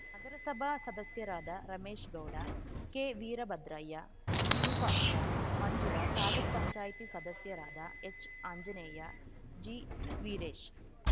ನಗರಸಭಾ ಸದಸ್ಯರಾದ ರಮೇಶ್‌ಗೌಡ ಕೆ ವೀರಭದ್ರಯ್ಯ ವಿರೂಪಾಕ್ಷ ಮಂಜುಳಾ ತಾಲೂಕ್ ಪಂಚಾಯ್ತಿ ಸದಸ್ಯರಾದ ಹೆಚ್‌ಆಂಜನೇಯ ಜಿ ವೀರೇಶ್‌